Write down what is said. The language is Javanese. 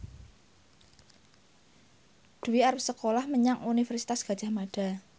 Dwi arep sekolah menyang Universitas Gadjah Mada